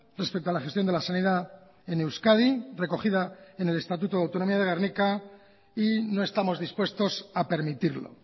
respecto a la gestión de la sanidad en euskadi recogida en el estatuto de autonomía de gernika y no estamos dispuestos a permitirlo